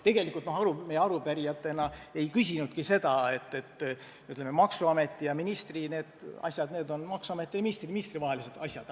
Tegelikult me arupärijatena ei küsinudki seda – maksuameti ja ministri asjad on maksuameti ja ministri vahelised asjad.